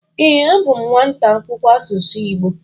Ee, abụ m nwata akwụkwọ asụsụ Igbo.